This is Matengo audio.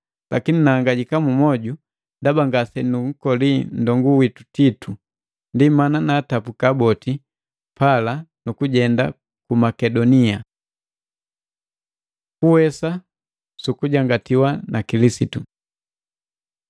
Lakini nahangajika mmwoju ndaba ngasenunkoli nndongu witu Titu. Ndi mana naatabuka boti pala nukujenda ku Makedonia. Kuwesa sukujangatiwa na Kilisitu